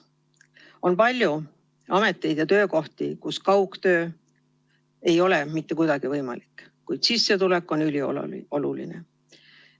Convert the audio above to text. On palju ameteid ja töökohti, kus kaugtöö ei ole mitte kuidagi võimalik, kuid sissetulek on ülioluline.